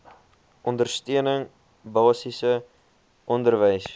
ondersteuning basiese onderwys